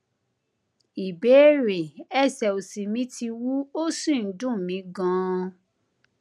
ìbéèrè ẹsẹ òsì mi ti wú ó sì ń dùn mí ganan